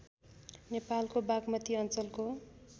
नेपालको बागमती अञ्चलको